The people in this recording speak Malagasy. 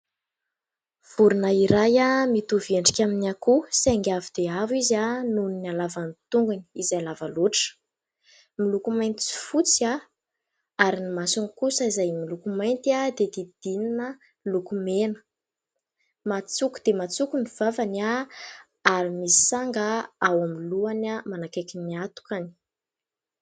Vorona iray mitovy endrika amin'ny akoho, saingy avo dia avo izy aho nohon'ny alavan'ny tongony izay lava loatra. Miloko mainty sy fotsy ary ny masony kosa izay miloko mainty, izay hodidinina loko mena matsoko dia matsoko ny vavany, ary misy sanga ao amin'ny lohany manakaiky ny atony.